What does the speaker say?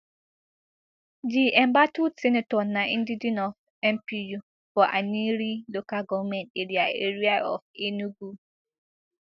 di embattled senator na indigene of mpu for aninri local govment area area of enugu